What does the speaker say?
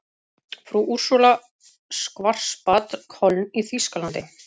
Frú Úrsúla Schwarzbad, Köln í þýskalandi.